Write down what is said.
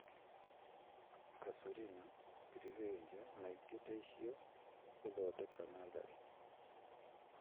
Casuarina, Grevillea na ingĩ ta icio . Gũthondeka natharĩ